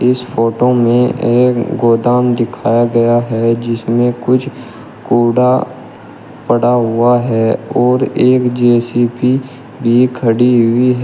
इस फोटो में एक गोदाम दिखाया गया है जिसमें कुछ कूड़ा पड़ा हुआ है और एक जे_सी_बी भी खड़ी हुई है।